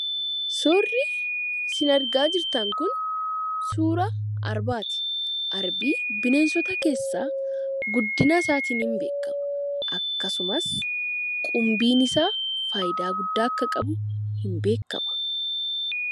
Suurri sin argaa jirtan kun, suuraa arbaati. Arbi bineensota keessaa guddina isaatiin ni beekama. Akkasumas qumbiin isaa faayidaa guddaa akka qabu ni beekama.